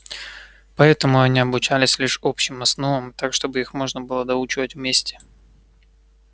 поэтому они обучались лишь общим основам так чтобы их можно было доучивать вместе